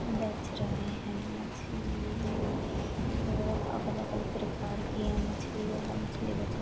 बेच रहे है। मछली बहुत अलग-अलग प्रकार की है। मछली वाला मछली बेच --